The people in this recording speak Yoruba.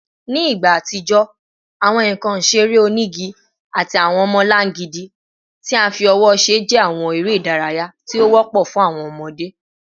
Ni igba atijọ, awọn nkan isere onigi ati awọn ọmọlangidi ti a fi ọwọ ṣe jẹ awọn ere idaraya ti o wọpọ fun awọn ọmọde